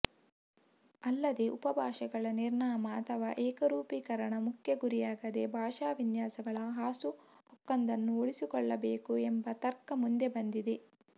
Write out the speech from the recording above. ಅಲ್ಲದೇ ಉಪಭಾಷೆಗಳ ನಿರ್ನಾಮ ಅಥವಾ ಏಕರೂಪೀಕರಣ ಮುಖ್ಯ ಗುರಿಯಾಗದೇ ಭಾಷಾ ವಿನ್ಯಾಸಗಳ ಹಾಸುಹೊಕ್ಕೊಂದನ್ನುಉಳಿಸಿಕೊಳ್ಳಬೇಕು ಎಂಬ ತರ್ಕ ಮುಂದೆ ಬಂದಿದೆ